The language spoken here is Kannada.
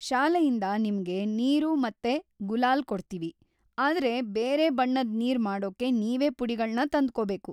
ಶಾಲೆಯಿಂದ ನಿಮ್ಗೆ ನೀರು ಮತ್ತೆ ಗುಲಾಲ್‌ ಕೊಡ್ತೀವಿ, ಆದ್ರೆ ಬೇರೆ ಬಣ್ಣದ್ ನೀರ್ ಮಾಡೋಕ್ಕೆ ನೀವೇ ಪುಡಿಗಳ್ನ ತಂದ್ಕೋಬೇಕು.